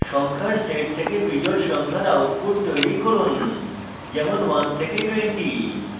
সংখ্যার set থেকে বিজোড় সংখ্যার output তৈরী করুন যেমন 1 থেকে 20